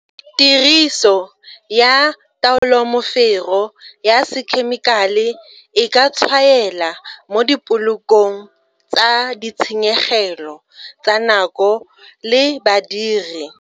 Tiriso ya taolomofero ya sekhemikale e ka tshwaela mo dipolokong tsa ditshenyegelo tsa nako le badiri.